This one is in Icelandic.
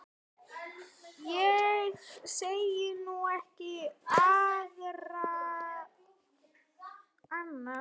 Ég segi nú ekki annað.